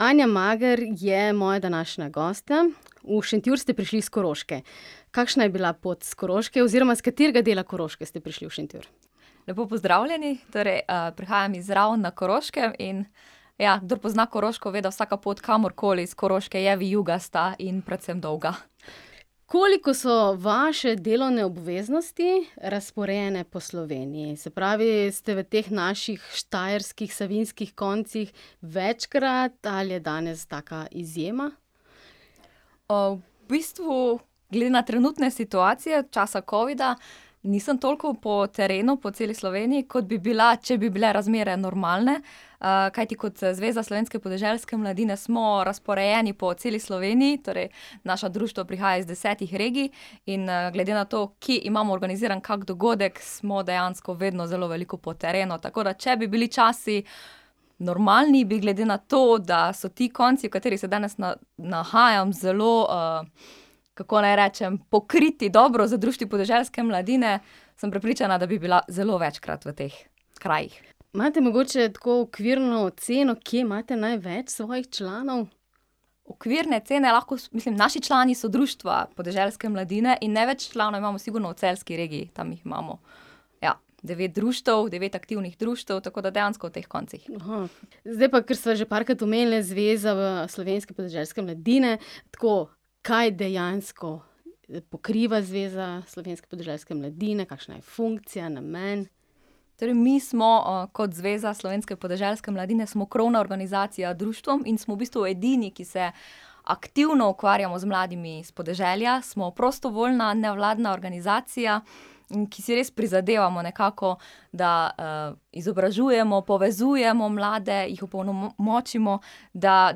Anja Mager je moja današnja gostja. V Šentjur ste prišli s Koroške. Kakšna je bila pot s Koroške oziroma s katerega dela Koroške ste prišli v Šentjur? Lepo pozdravljeni. Torej, prihajam iz Raven na Koroškem, in ja, kdor pozna Koroško, ve, da vsaka pot kamorkoli s Koroške je vijugasta in predvsem dolga. Koliko so vaše delovne obveznosti razporejene po Sloveniji? Se pravi, ste v teh naših štajerskih, savinjskih koncih večkrat ali je danes taka izjema? v bistvu glede na trenutne situacije, časa covida, nisem toliko po terenu po celi Sloveniji, kot bi bila, če bi bile razmere normalne. kajti kot Zveza slovenske podeželske mladine smo razporejeni po celi Sloveniji, torej naša društva prihajajo iz desetih regij. In, glede na to, kje imamo organiziran kak dogodek, smo dejansko vedno zelo veliko po terenu, tako da če bi bili časi normalni, bi glede na to, da so ti konci, v katerih se danes nahajam zelo, kako naj rečem, pokriti dobro z društvi podeželske mladine, sem prepričana, da bi bila zelo večkrat v teh krajih. Imate mogoče tako okvirno oceno, kje imate največ svojih članov? Okvirne ocene lahko mislim, naši člani so društva podeželske mladine in največ članov imamo sigurno v celjski regiji, tam jih imamo, ja, devet društev, devet aktivnih društev, tako da dejansko v teh koncih. Zdaj pa kar sva že parkrat omenili Zvezo, slovenske podeželske mladine, tako, kaj dejansko pokriva Zveza slovenske podeželske mladine, kakšna je funkcija, namen? Torej mi smo, kot Zveza Slovenske podeželske mladine smo krovna organizacija društvom in smo v bistvu edini, ki se aktivno ukvarjamo z mladimi s podeželja. Smo prostovoljna nevladna organizacija in ki si res prizadevamo nekako, da, izobražujemo, povezujemo mlade, jih opolnomočimo, da,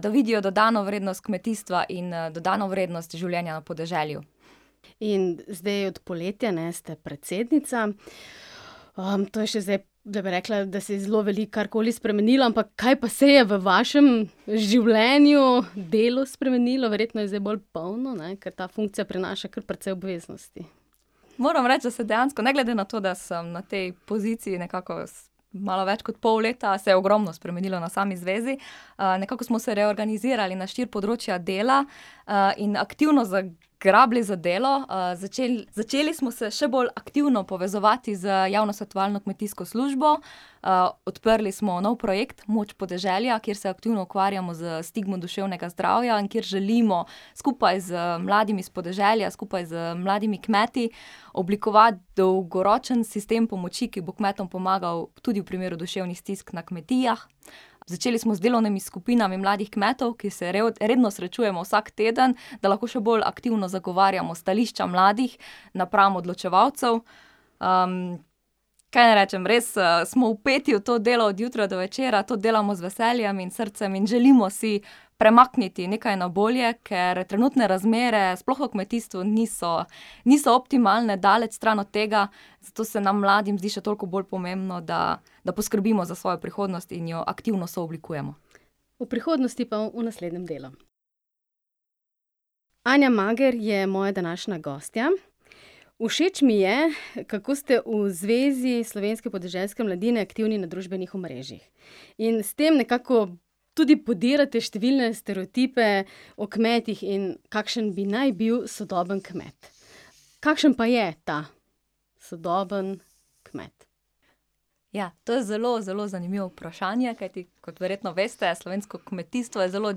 da vidijo dodano vrednost kmetijstva in, dodano vrednost življenja na podeželju. In zdaj od poletja, ne, ste predsednica. to je še zdaj, da bi rekla, da se je zelo veliko karkoli spremenilo, ampak kaj pa se je v vašem življenju, delu spremenilo? Verjetno je zdaj bolj polno ne, ker ta funkcija prinaša kar precej obveznosti. Moram reči, da se dejansko, ne glede na to, da sem na tej poziciji nekako malo več kot pol leta, se je ogromno spremenilo na sami zvezi. nekako smo se reorganizirali na štiri področja dela, in aktivno zagrabili za delo. začeli, začeli smo se še bolj aktivno povezovati z javno svetovalno kmetijsko službo, odprli smo nov projekt Moč podeželja, kjer se aktivno ukvarjamo s stigmo duševnega zdravja in kjer želimo skupaj z mladimi s podeželja, skupaj z mladimi kmeti oblikovati dolgoročen sistem pomoči, ki bo kmetom pomagal tudi v primeru duševnih stisk na kmetijah. Začeli smo z delovnimi skupinami mladih kmetov, ki se redno srečujemo vsak teden, da lahko še bolj aktivno zagovarjamo stališča mladih napram odločevalcev. kaj naj rečem, res, smo vpeti v to delo od jutra do večera. To delamo z veseljem in srcem in želimo si premakniti nekaj na bolje, ker trenutne razmere sploh v kmetijstvu niso niso optimalne, daleč stran od tega, zato se nam mladim zdi še toliko bolj pomembno, da, da poskrbimo za svojo prihodnost in jo aktivno sooblikujemo. O prihodnosti pa v naslednjem delu. Anja Mager je moja današnja gostja. Všeč mi je, kako ste v Zvezi slovenske podeželske mladine aktivni na družbenih omrežjih. In s tem nekako tudi podirate številne stereotipe o kmetih in kakšen bi naj bil sodobni kmet. Kakšen pa je ta sodobni kmet? Ja, to je zelo zelo zanimivo vprašanje, kajti kot verjetno veste, slovensko kmetijstvo je zelo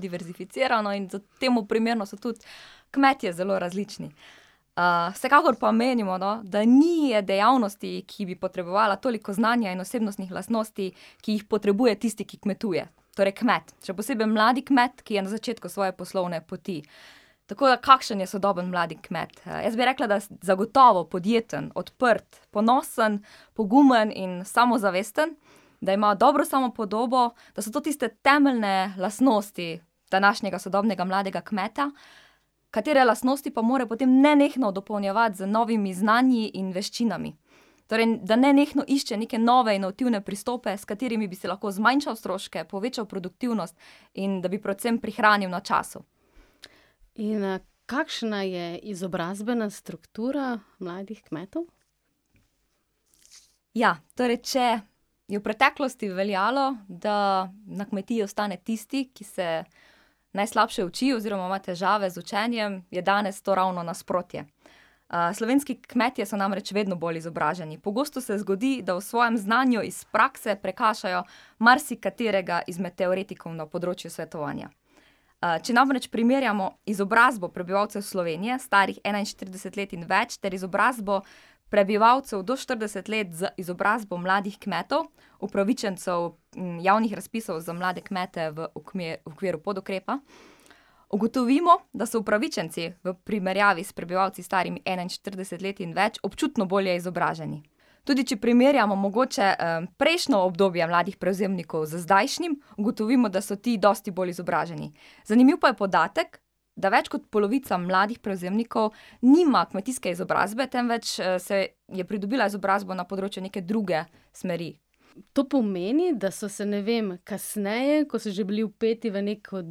diverzificirano in temu primerno so tudi kmetje zelo različni. vsekakor pa menimo, no, da ni je dejavnosti, ki bi potrebovala toliko znanja in osebnostnih lastnosti, ki jih potrebuje tisti, ki kmetuje, torej kmet, še posebej mladi kmet, ki je na začetku svoje poslovne poti. Tako da kakšen je sodobni mladi kmet? Jaz bi rekla, da zagotovo podjeten, odprt, ponosen, pogumen in samozavesten. Da ima dobro samopodobo, da so to tiste temeljne lastnosti današnjega sodobnega mladega kmeta, katere lastnosti pa mora potem nenehno dopolnjevati z novimi znanji in veščinami. Torej da nenehno išče neke nove inovativne pristope, s katerimi bi si lahko zmanjšal stroške, povečal produktivnost in da bi predvsem prihranil na času. In, kakšna je izobrazbena struktura mladih kmetov? Ja, torej če je v preteklosti veljalo, da na kmetiji ostane tisti, ki se najslabše uči oziroma ima težave z učenjem, je danes to ravno nasprotje. slovenski kmetje so namreč vedno bolj izobraženi. Pogosto se zgodi, da v svojem znanju iz prakse prekašajo marsikaterega izmed teoretikov na področju svetovanja. če namreč primerjamo izobrazbo prebivalcev Slovenije, starih enainštirideset let in več ter izobrazbo prebivalcev do štirideset let z izobrazbo mladih kmetov, upravičencev, javnih razpisov za mlade kmete v okviru podukrepa, ugotovimo, da so upravičenci v primerjavi s prebivalci, starimi enainštirideset let in več, občutno bolje izobraženi. Tudi če primerjamo mogoče, prejšnjo obdobje mladih prevzemnikov z zdajšnjim, ugotovimo, da so ti dosti bolj izobraženi. Zanimiv pa je podatek, da več kot polovica mladih prevzemnikov nima kmetijske izobrazbe, temveč, je pridobila izobrazbo na področju neke druge smeri. To pomeni, da so se, ne vem, kasneje, ko so že bili vpeti v nekaj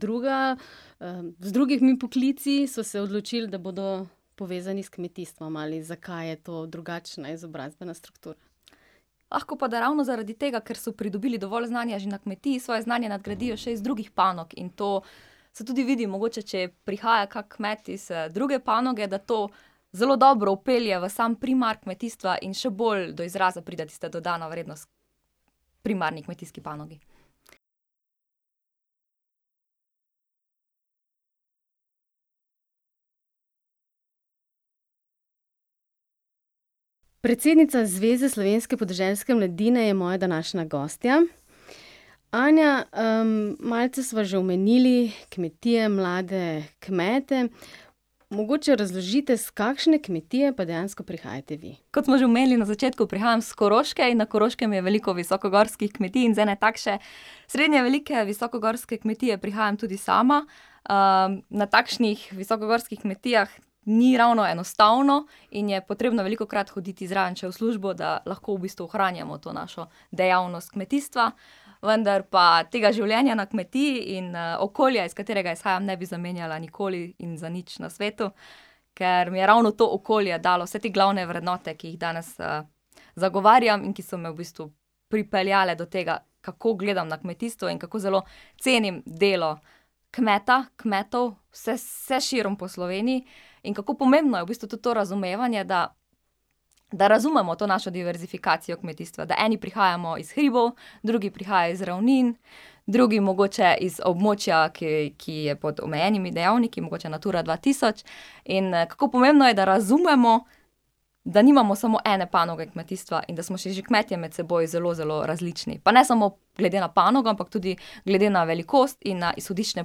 drugega, z drugimi poklici, so se odločili, da bodo povezani s kmetijstvom, ali zakaj je to drugačna izobrazbena struktura? Lahko pa da ravno zaradi tega, ker so pridobili dovolj znanja že na kmetiji, svoje znanje nadgradijo še iz drugih panog, in to se tudi vidi mogoče, če prihaja kak kmet iz, druge panoge, da to zelo dobro vpelje v sam primar kmetijstva in še bolj do izraza pride tista dodana vrednost primarni kmetijski panogi. Predsednica Zveze slovenske podeželske mladine je moja današnja gostja. Anja, malce sva že omenili kmetije, mlade kmete. Mogoče razložite, s kakšne kmetije pa dejansko prihajate vi. Kot smo že omenili na začetku, prihajam s Koroške in na Koroškem je veliko visokogorskih kmetij in z ene takšne srednje velike visokogorske kmetije prihajam tudi sama. na takšnih visokogorskih kmetijah ni ravno enostavno in je potrebno velikokrat hoditi zraven še v službo, da lahko v bistvu ohranjamo to našo dejavnost kmetijstva. Vendar pa tega življenja na kmetiji in, okolja, iz katerega izhajam, ne bi zamenjala nikoli in za nič na svetu, ker mi je ravno to okolje dalo vse te glavne vrednote, ki jih danes, zagovarjam in ki so me v bistvu pripeljale do tega, kako gledam na kmetijstvo in kako zelo cenim delo kmeta, kmetov vse, vse širom po Sloveniji. In kako pomembno je v bistvu tudi to razumevanje, da da razumemo to našo diverzifikacijo kmetijstva. Da eni prihajamo iz hribov, drugi prihajajo iz ravnin, drugi mogoče iz območja, ki je pod omejenimi dejavniki, mogoče Natura dva tisoč. In kako pomembno je, da razumemo, da nimamo samo ene panoge kmetijstva in da smo si že kmetje med seboj zelo zelo različni. Pa ne samo glede na panogo, ampak tudi glede na velikost in na izhodiščne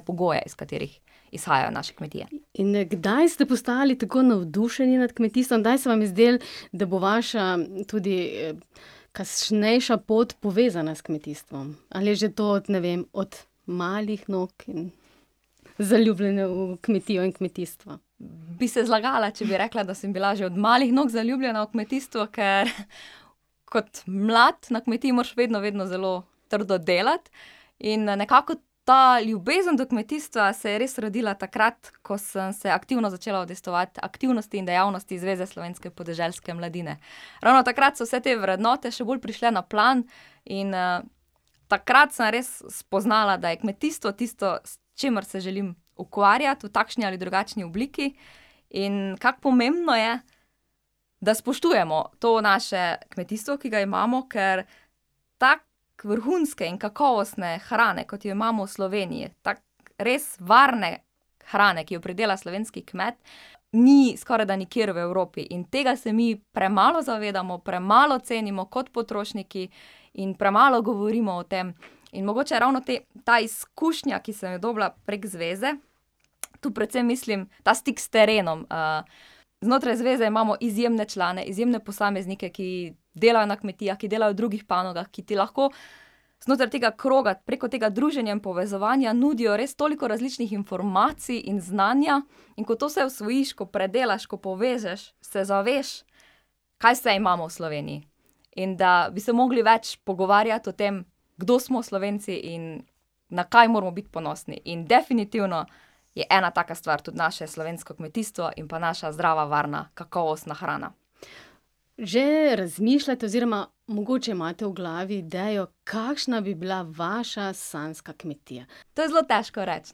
pogoje, iz katerih izhajajo naše kmetije. In kdaj ste postali tako navdušeni nad kmetijstvom? Kdaj se vam je zdelo, da bo vaša, tudi kasnejša pot povezana s kmetijstvom? Ali je že to od, ne vem, od malih nog in zaljubljena v kmetijo in kmetijstvo? Bi se zlagala, če bi rekla, da sem bila že od malih nog zaljubljena v kmetijstvo, ker kot mlad na kmetiji moraš vedno vedno zelo trdo delati in, nekako ta ljubezen do kmetijstva se je res rodila takrat, ko sem se aktivno začela udejstvovati v aktivnosti in dejavnosti Zveze slovenske podeželske mladine. Ravno takrat so vse te vrednote še bolj prišle na plan in, takrat sem res spoznala, da je kmetijstvo tisto, s čimer se želim ukvarjati v takšni ali drugačni obliki. In kako pomembno je, da spoštujemo to naše kmetijstvo, ki ga imamo, ker tako vrhunske in kakovostne hrane, kot jo imamo v Sloveniji, tako res varne hrane, ki jo pridela slovenski kmet, ni skorajda nikjer v Evropi. In tega se mi premalo zavedamo, premalo cenimo kot potrošniki in premalo govorimo o tem. In mogoče ravno te, ta izkušnja, ki sem jo dobila prek zveze, tu predvsem mislim ta stik s terenom, znotraj zveze imamo izjemne člane, izjemne posameznike, ki delajo na kmetijah, ki delajo v drugih panogah, ki ti lahko znotraj tega kroga, preko tega druženja in povezovanja nudijo res toliko različnih informacij in znanja, in ko to vse osvojiš, ko predelaš, ko povežeš, se zaveš, kaj vse imamo v Sloveniji. In da bi se mogli več pogovarjati o tem, kdo smo Slovenci in na kaj moramo biti ponosni in definitivno je ena taka stvar tudi naše slovensko kmetijstvo in pa naša zdrava, varna, kakovostna hrana. Že razmišljate oziroma mogoče imate v glavi idejo, kakšna bi bila vaša sanjska kmetija? To je zelo težko reči,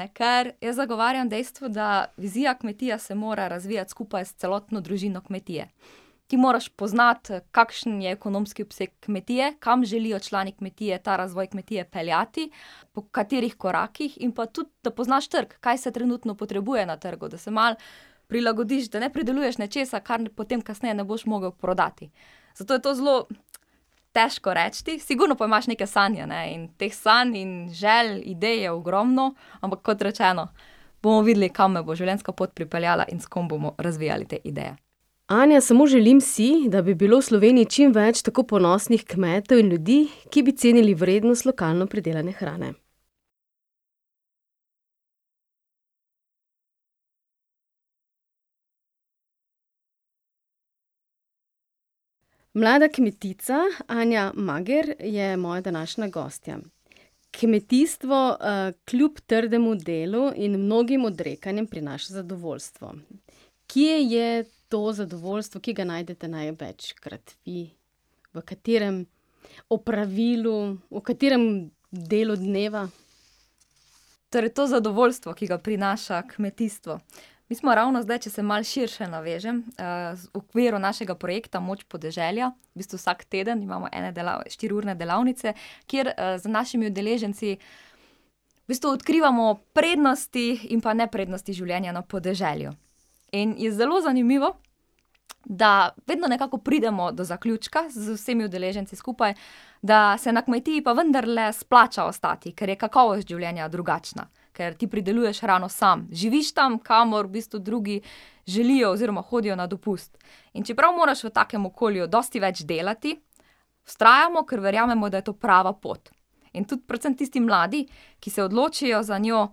ne, ker jaz zagovarjam dejstvo, da vizija kmetije se mora razvijati skupaj s celotno družino kmetije. Ti moraš poznati, kakšen je ekonomski obseg kmetije, kam želijo člani kmetije ta razvoj kmetije peljati, po katerih korakih, in pa tudi da poznaš trg. Kaj se trenutno potrebuje na trgu, da se malo prilagodiš, da ne prideluješ nečesa, kar potem kasneje ne boš mogel prodati. Zato je to zelo težko reči, sigurno pa imaš neke sanje, ne, in teh sanj in želj, idej je ogromno, ampak kot rečeno, bomo videli, kam me bo življenjska pot pripeljala in s kom bomo razvijali te ideje. Anja, samo želim si, da bi bilo v Sloveniji čim več tako ponosnih kmetov in ljudi, ki bi cenili vrednost lokalno pridelane hrane. Mlada kmetica Anja Mager je moja današnja gostja. Kmetijstvo, kljub trdemu delu in mnogim odrekanjem prinaša zadovoljstvo. Kje je to zadovoljstvo, kje ga najdete največkrat in v katerem opravilu, v katerem delu dneva? Torej to zadovoljstvo, ki ga prinaša kmetijstvo. Mi smo ravno zdaj, če se malo širše navežem, v okviru našega projekta Moč podeželja, v bistvu vsak teden imamo ene štiriurne delavnice, kjer, z našimi udeleženci v bistvu odkrivamo prednosti in pa neprednosti življenja na podeželju. In je zelo zanimivo, da vedno nekako pridemo do zaključka z vsemi udeleženci skupaj, da se na kmetiji pa vendarle splača ostati, ker je kakovost življenja drugačna. Ker ti prideluješ hrano samo. Živiš tam, kamor v bistvu drugi želijo oziroma hodijo na dopust. In čeprav moraš v takem okolju dosti več delati, vztrajamo, ker verjamemo, da je to prava pot. In tudi predvsem tisti mladi, ki se odločijo za njo,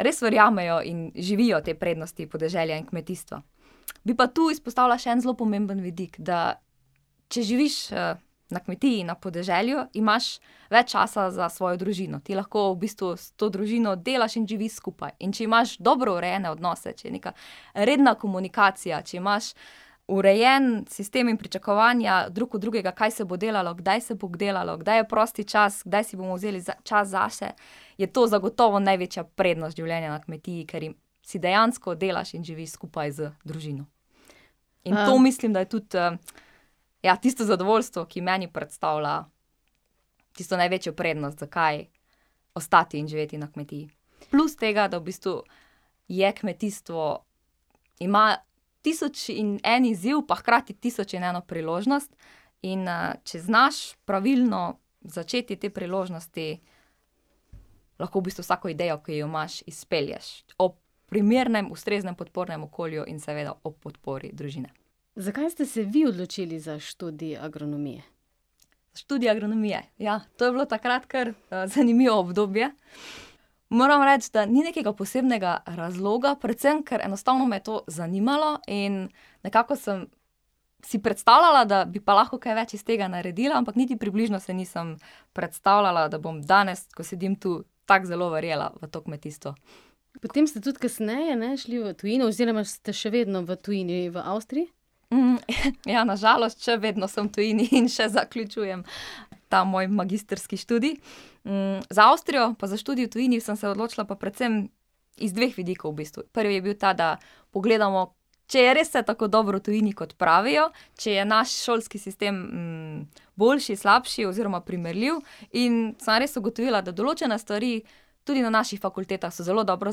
res verjamejo in živijo te prednosti podeželja in kmetijstva. Bi pa tu izpostavila še en zelo pomemben vidik. Da če živiš, na kmetiji, na podeželju, imaš več časa za svojo družino. Ti lahko v bistvu s to družino delaš in živiš skupaj. In če imaš dobro urejene odnose, če je neka redna komunikacija, če imaš urejen sistem in pričakovanja drug od drugega, kaj se bo delalo, kdaj se bo delalo, kdaj je prosti čas, kdaj si bomo vzeli čas zase, je to zagotovo največja prednost življenja na kmetiji, ker si dejansko delaš in živiš skupaj z družino. In to mislim, da je tudi, ja, tisto zadovoljstvo, ki meni predstavlja tisto največjo prednost, zakaj ostati in živeti na kmetiji. Plus tega, da v bistvu je kmetijstvo, ima tisoč in en izziv pa hkrati tisoč in eno priložnost, in, če znaš pravilno začeti te priložnosti, lahko v bistvu vsako idejo, ki jo imaš, izpelješ. Ob primernem, ustreznem podpornem okolju in seveda ob podpori družine. Zakaj ste se vi odločili za študij agronomije? Študij agronomije, ja, to je bilo takrat kar, zanimivo obdobje. Moram reči, da ni nekega posebnega razloga. Predvsem ker enostavno me je to zanimalo in nekako sem si predstavljala, da bi pa lahko kaj več iz tega naredila, ampak niti približno se nisem predstavljala, da bom danes, ko sedim tu, tako zelo verjela v to kmetijstvo. Potem ste tudi kasneje, ne, šli v tujino oziroma ste še vedno v tujini, v Avstriji. ja, na žalost še vedno sem v tujini in še zaključujem ta moj magistrski študij. za Avstrijo pa za študij v tujini sem se odločila pa predvsem iz dveh vidikov v bistvu. Prvi je bil ta, da pogledamo, če je res vse tako dobro v tujini, kot pravijo. Če je naš šolski sistem, boljši, slabši oziroma primerljiv, in sem res ugotovila, da določene stvari tudi na naših fakultetah so zelo dobro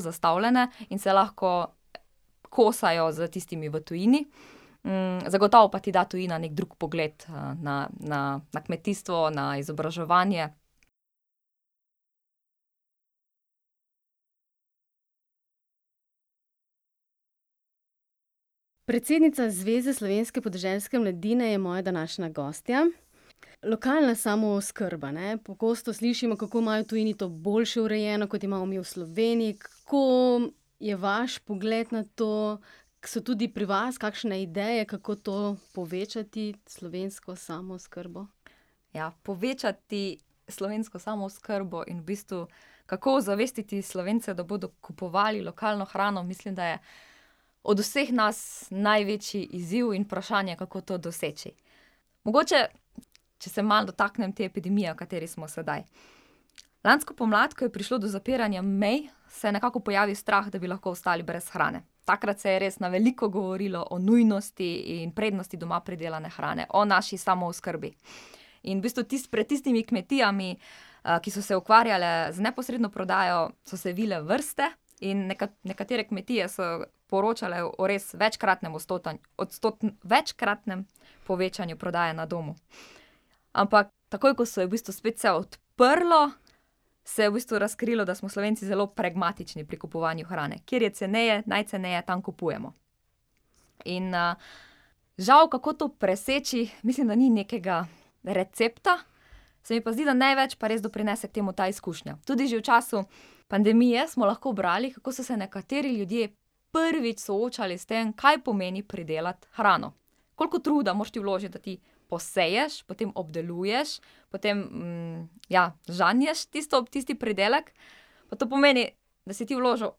zastavljene in se lahko kosajo s tistimi v tujini. zagotovo pa ti da tujina neki drug pogled, na, na, na kmetijstvo, na izobraževanje. Predsednica Zveze slovenske podeželske mladine je moja današnja gostja. Lokalna samooskrba, ne, pogosto slišimo, kako imajo v tujini to boljše urejeno, kot imamo mi v Sloveniji. Kako je vaš pogled na to? So tudi pri vas kakšne ideje, kako to povečati, slovensko samooskrbo? Ja, povečati slovensko samooskrbo in v bistvu kako ozavestiti Slovence, da bodo kupovali lokalno hrano, mislim, da je od vseh nas največji izziv in vprašanje, kako to doseči. Mogoče če se malo dotaknem te epidemije, v kateri smo sedaj. Lansko pomlad, ko je prišlo do zapiranja mej, se je nekako pojavil strah, da bi lahko ostali brez hrane. Takrat se je res na veliko govorilo o nujnosti in prednosti doma pridelane hrane. O naši samooskrbi. In v bistvu tisti, pred tistimi kmetijami, ki so se ukvarjale z neposredno prodajo, so se vile vrste in nekatere kmetije so poročale o res večkratnem večkratnem povečanju prodaje na domu. Ampak takoj ko se je v bistvu spet vse odprlo, se je v bistvu razkrilo, da smo Slovenci zelo pragmatični pri kupovanju hrane. Kjer je ceneje, najceneje, tam kupujemo. In, žal, kako to preseči, mislim, da ni nekega recepta, se mi pa zdi, da največ pa res doprinese temu ta izkušnja. Tudi že v času pandemije smo lahko brali, kako so se nekateri ljudje prvič soočali s tem, kaj pomeni pridelati hrano. Koliko truda moraš ti vložiti, da ti poseješ, potem obdeluješ, potem, ja, žanješ tisto, tisti pridelek. Da to pomeni, da si ti vložil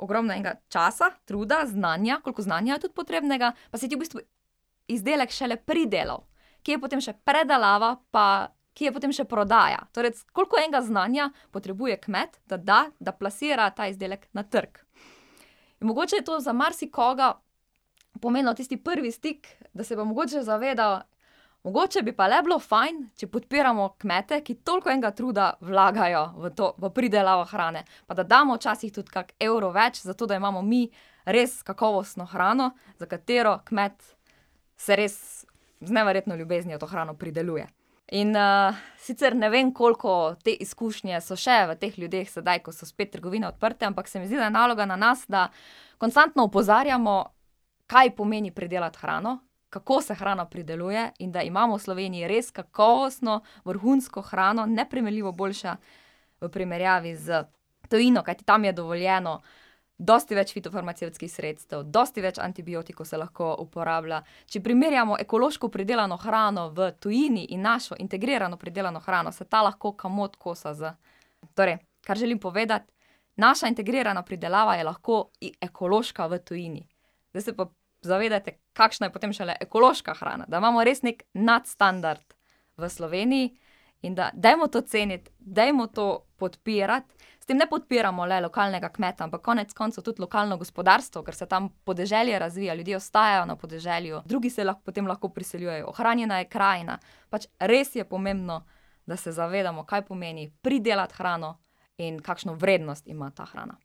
ogromno enega časa, truda, znanja, koliko znanja je tudi potrebnega, pa si ti v bistvu izdelek šele pridelal. Kje je potem še predelava, pa kje je potem še prodaja. Torej koliko enega znanja potrebuje kmet, da da, da plasira ta izdelek na trg. In mogoče je to za marsikoga pomenilo tisti prvi stik, da se bo mogoče zavedal, mogoče bi pa le bilo fajn, če podpiramo kmete, ki toliko enega truda vlagajo v to, v pridelavo hrane. Pa da damo včasih tudi kak evro več, zato da imamo mi res kakovostno hrano, za katero kmet se res z neverjetno ljubeznijo to hrano prideluje. In, sicer ne vem, koliko te izkušnje so še v teh ljudeh sedaj, ko so spet trgovine odprte, ampak se mi zdi, da je naloga na nas, da konstantno opozarjamo, kaj pomeni pridelati hrano, kako se hrana prideluje in da imamo v Sloveniji res kakovostno, vrhunsko hrano, neprimerljivo boljšo v primerjavi z tujino, kajti tam je dovoljeno dosti več fitofarmacevtskih sredstev, dosti več antibiotikov se lahko uporablja. Če primerjamo ekološko pridelano hrano v tujini in našo integrirano pridelano hrano, se ta lahko komot kosa z ... Torej, kar želim povedati, naša integrirana pridelava je lahko ekološka v tujini. Zdaj se pa zavedajte, kakšna je potem šele ekološka hrana, da imamo res neki nadstandard v Sloveniji in da dajmo to ceniti, dajmo to podpirati. S tem ne podpiramo le lokalnega kmeta, ampak konec koncev tudi lokalno gospodarstvo, ker se tam podeželje razvija, ljudje ostajajo na podeželju, drugi se potem lahko priseljujejo, ohranjena je krajina. Pač res je pomembno, da se zavedamo, kaj pomeni pridelati hrano in kakšno vrednost ima ta hrana.